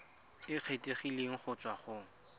e kgethegileng go tswa go